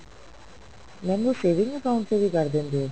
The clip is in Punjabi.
mam ਉਹ saving account ਚ ਵੀ ਕਰ ਦਿੰਦੇ ਹੋ